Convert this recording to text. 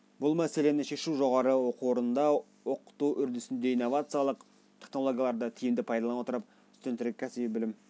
бұл мәселені шешу жоғары оқу орнында оқыту үрдісінде инновациялық технологияларды тиімді пайдалана отырып студенттерге кәсіби білім